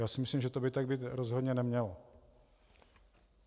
Já si myslím, že to by tak být rozhodně nemělo.